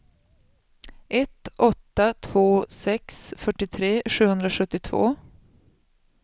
ett åtta två sex fyrtiotre sjuhundrasjuttiotvå